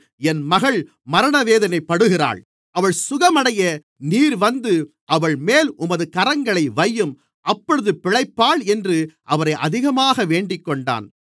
என் மகள் மரணவேதனைப்படுகிறாள் அவள் சுகமடைய நீர் வந்து அவள்மேல் உமது கரங்களை வையும் அப்பொழுது பிழைப்பாள் என்று அவரை அதிகமாக வேண்டிக்கொண்டான்